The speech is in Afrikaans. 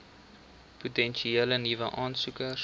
potensiële nuwe aansoekers